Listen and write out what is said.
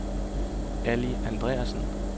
Ali Andreasen